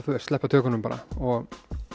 sleppa tökunum bara og